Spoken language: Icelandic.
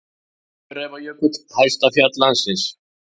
Öræfajökull, hæsta fjall landsins.